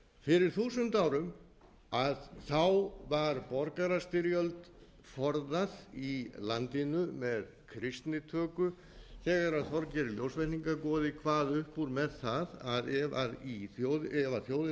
fyrir þúsund árum var borgarastyrjöld forðað í landinu með kristnitöku þegar þorgeir ljósvetningagoði kvað upp úr með það að ef þjóðin